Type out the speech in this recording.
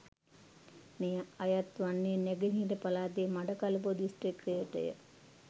මෙය අයත් වන්නේ නැගෙනහිර පළාතේ මඩකලපුව දිස්ත්‍රික්කයටය.